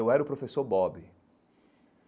Eu era o professor Bob.